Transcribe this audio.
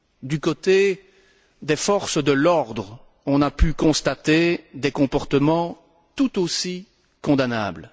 Du côté des forces de l'ordre, on a pu constater des comportements tout aussi condamnables.